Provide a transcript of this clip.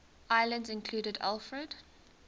islands included alfred